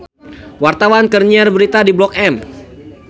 Wartawan keur nyiar berita di Blok M